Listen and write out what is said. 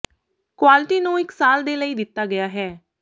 quality ਨੂੰ ਇੱਕ ਸਾਲ ਦੇ ਲਈ ਦਿੱਤਾ ਗਿਆ ਹੈ